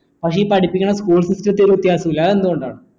പക്ഷേ ഈ പഠിപ്പിക്കണ school system ത്തിൽ ഒരു വ്യത്യാസവുമില്ല അതെന്ത് കൊണ്ടാണ്